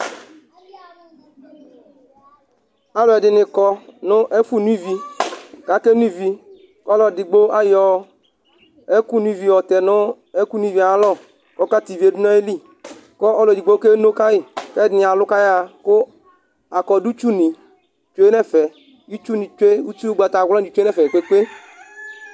ɔlɔdini kɔ nu ɛfɛ nuivi kake nuivi, ku alu edigbo ayɔ ɛku nuivi yɔtɛ nu ɛku nuiviɛ ayalɔ kɔka tivie du nayili kɔ ɔlu edigbo keno kayi kɛdini alu kayaɣa ku akɔdu tsu ni tsʋe nɛfɛ, itsu tsʋe nɛfɛ itsu ugbata wla ni tsʋe nɛfɛ Kɔkɔe